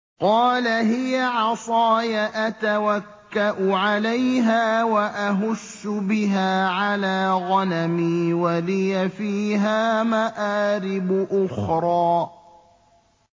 قَالَ هِيَ عَصَايَ أَتَوَكَّأُ عَلَيْهَا وَأَهُشُّ بِهَا عَلَىٰ غَنَمِي وَلِيَ فِيهَا مَآرِبُ أُخْرَىٰ